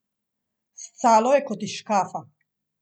Scalo je kot iz škafa.